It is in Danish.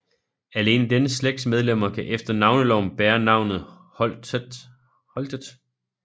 Alene denne slægts medlemmer kan efter Navneloven bære navnet Holtet